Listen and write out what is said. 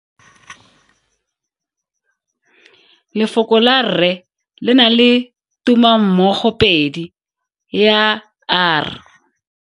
Lefoko la rre le na le tumammogopedi ya, r.